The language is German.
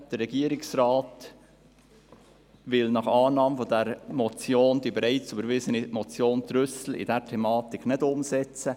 Der Regierungsrat will nach Annahme dieser Motion die bereits überwiesene Motion Trüssel in dieser Thematik nicht umsetzen.